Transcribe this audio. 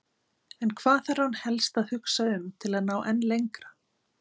En hvað þarf hann helst að hugsa um til að ná enn lengra?